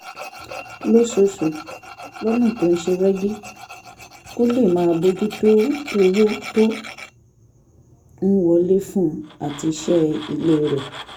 lóṣooṣù lọ́nà tó ṣe rẹ́gí kó lè máa bójú tó owó tó ń wọlé fún un àti iṣẹ́ ilé rẹ̀